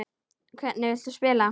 Hvernig viltu spila?